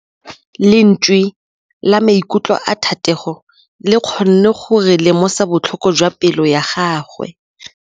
Lentswe la maikutlo a Thategô le kgonne gore re lemosa botlhoko jwa pelô ya gagwe.